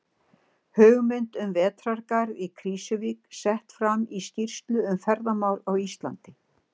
Hugmynd um vetrargarð í Krýsuvík sett fram í skýrslu um ferðamál á Íslandi.